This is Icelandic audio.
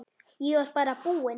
Ég var bara búinn.